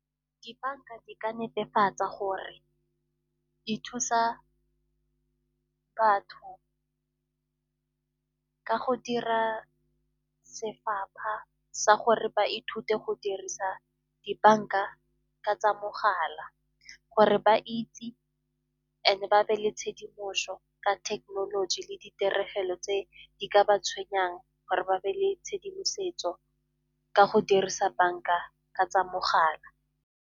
Dibanka di ka netefatsa gore di thusa batho tsaka go dira sefapha sa gore ba ithute go dirisa dibanka ka tsa mogala, gore ba itse e and-e ba be le tshedimoso ka thekenoloji le ditiregelo tse di ka ba tshwenyang gore ba be le tshedimosetso ka go dirisa banka ka tsa mogala.